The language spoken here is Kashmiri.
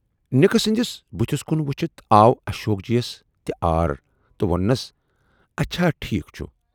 نِکہٕ سٕندِس بُتھِس کُن وُچھِتھ آو اشوک جی یَس تہِ عار تہٕ ووننس اچھا ٹھیٖک چھُ